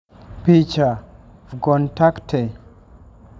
Picha: Vkontakte